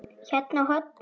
Hérna á hornið.